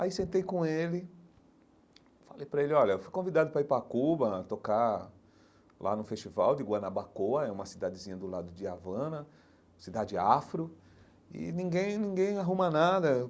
Aí sentei com ele, falei para ele, olha, fui convidado para ir para Cuba, tocar lá no festival de Guanabacoa, é uma cidadezinha do lado de Havana, cidade afro, e ninguém ninguém arruma nada.